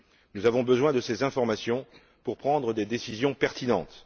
Nous avons besoin de ces informations pour prendre des décisions pertinentes.